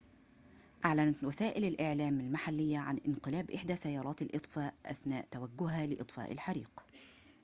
أعلنت وسائل الإعلام المحلية عن انقلاب إحدى سيارات الإطفاء أثناء توجهها لإطفاء الحريق